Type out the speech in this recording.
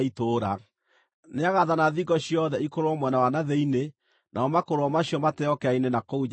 Nĩagaathana thingo ciothe ikũrũrwo mwena wa na thĩinĩ, namo makũrũro macio mateo kĩara-inĩ na kũu nja ya itũũra.